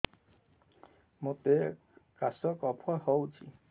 ମୋତେ କାଶ କଫ ହଉଚି